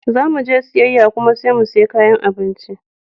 Zamuje siyayya kuma sai mu siya kayan abinci.